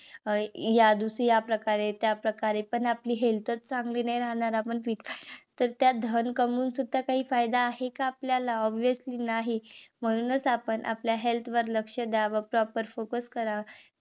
या या प्रकारे त्या प्रकारे पण आपली health च चांगली नाही राहणार. आपण तर ते धन कमवून सुद्धा काय फायदा आहे का आपल्याला obviously नाही. म्हणूनच आपण आपल्या health वर लक्ष द्याव. proper focus करावा.